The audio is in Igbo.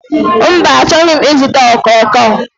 Mba, achọghị m ịzụta okooko.